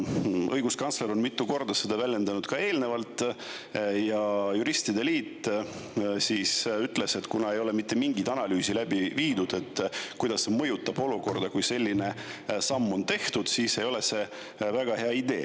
Õiguskantsler on mitu korda seda väljendanud ka eelnevalt ja juristide liit ütles, et kuna ei ole mitte mingit analüüsi läbi viidud, kuidas see mõjutab olukorda, kui selline samm tehakse, siis ei ole see väga hea idee.